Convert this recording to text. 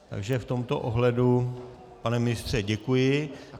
Takže v tomto ohledu, pane ministře, děkuji.